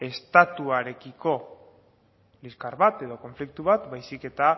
estatuarekiko liskar bat edo konflikto bat baizik eta